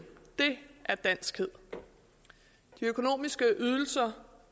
det er danskhed de økonomiske ydelser